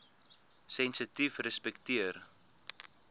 sensitiefrespekteer